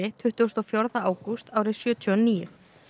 tuttugasta og fjórða ágúst árið sjötíu og níu